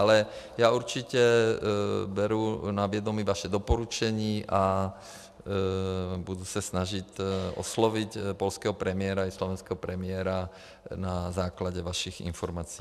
Ale já určitě beru na vědomí vaše doporučení a budu se snažit oslovit polského premiéra i slovenského premiéra na základě vašich informací.